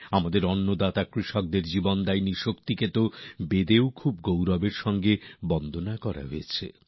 আমাদের অন্নদাতা কৃষকদের জীবনদায়ী শক্তিকে বেদেও খুবই গৌরবময় ভাবে প্রনাম জানানো হয়েছে